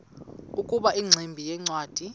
ukuba ingximba yincwadi